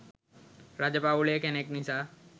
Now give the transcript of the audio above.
රජ පවුලේ කෙනෙක් නිසා